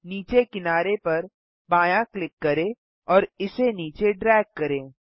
नीचे किनारे पर बायाँ क्लिक करें और इसे नीचे ड्रैग करें